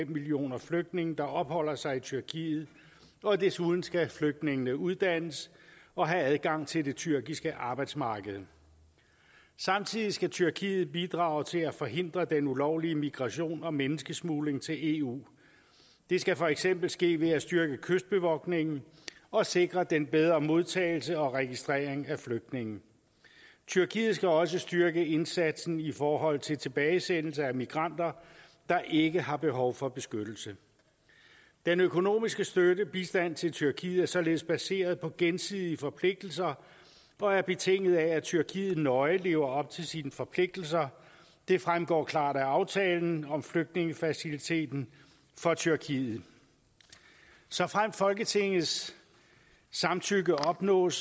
millioner flygtninge der opholder sig i tyrkiet og desuden skal flygtningene uddannes og have adgang til det tyrkiske arbejdsmarked samtidig skal tyrkiet bidrage til at forhindre den ulovlige migration og menneskesmugling til eu det skal for eksempel ske ved at styrke kystbevogtningen og sikre en bedre modtagelse og registrering af flygtninge tyrkiet skal også styrke indsatsen i forhold til tilbagesendelse af migranter der ikke har behov for beskyttelse den økonomiske støtte og bistand til tyrkiet er således baseret på gensidige forpligtelser og er betinget af at tyrkiet nøje lever op til sine forpligtelser det fremgår klart af aftalen om flygtningefaciliteten for tyrkiet såfremt folketingets samtykke opnås